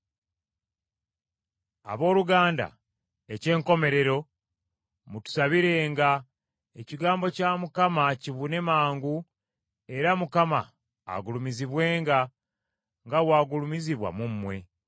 Abooluganda, eky’enkomerero, mutusabirenga, ekigambo kya Mukama kibune mangu era Mukama agulumizibwenga, nga bw’agulumizibwa mu mmwe,